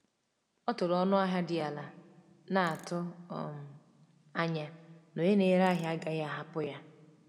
Ọ tụrụ ọnụ ahịa dị ala, na-atụ um anya na onye na-ere ahịa agaghị ahapụ ya.